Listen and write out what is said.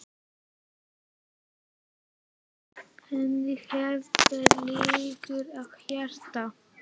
Ég veit, sagði hann henni, hvað þér liggur á hjarta